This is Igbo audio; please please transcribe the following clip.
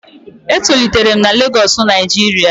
E tolitere'm na Lagosu Nijiria